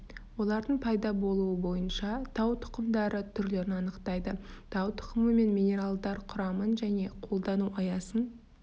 олардың пайда болуы бойынша тау тұқымдары түрлерін анықтайды тау тұқымы мен минералдар құрамын және қолдану аясын